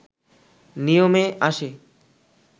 নিয়মে আসে